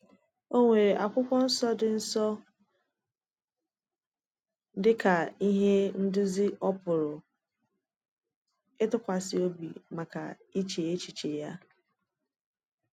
O nwere Akwụkwọ Nsọ dị Nsọ dị ka ihe nduzi ọ pụrụ ịtụkwasị obi maka iche èchìchè ya.